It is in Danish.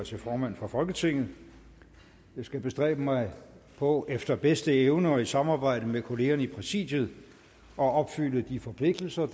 som formand for folketinget jeg skal bestræbe mig på efter bedste evne og i samarbejde med kollegerne i præsidiet at opfylde de forpligtelser